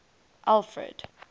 alfred